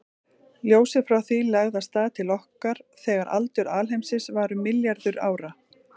Ljósið frá því lagði af stað til okkar þegar aldur alheimsins var um milljarður ára.